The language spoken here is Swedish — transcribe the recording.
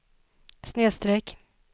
snedsträck